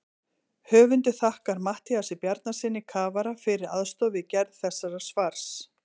Höfundur þakkar Matthíasi Bjarnasyni kafara fyrir aðstoð við gerð þessa svars.